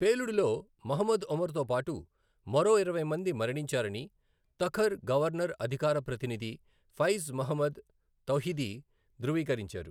పేలుడులో మహ్మద్ ఒమర్తో పాటు మరో ఇరవై మంది మరణించారని తఖర్ గవర్నర్ అధికార ప్రతినిధి ఫైజ్ మహ్మద్ తౌహిదీ ధృవీకరించారు.